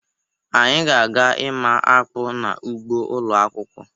Anyị ga-aga ịma akpụ n'ugbo ụlọ akwụkwọ.